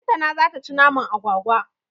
Lantana zata ci naman agwagwa.